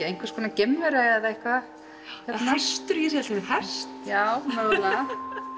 einhvers konar geimvera eða eitthvað eða hestur ég sé allt í einu hest já mögulega